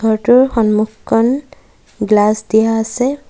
ঘৰটোৰ সন্মুখকন গ্লাছ দিয়া আছে।